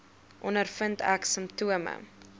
ondervind ek simptome